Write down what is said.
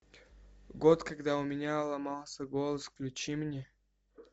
год когда у меня ломался голос включи мне